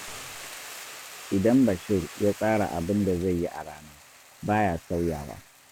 Idan Bashir ya tsara abin da zai yi a rana, ba ya sauyawa